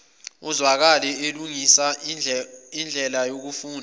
ezwakale elungisa indlelayokufunda